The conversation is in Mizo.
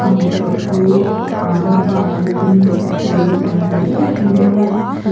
amaerawhchu ahh hmabak a la tamin sak tur a la tam hmel em em maia chu --